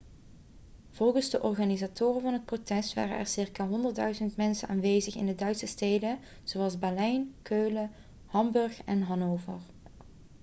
volgens de organisatoren van het protest waren er circa 100.000 mensen aanwezig in duitse steden zoals berlijn keulen hamburg en hannover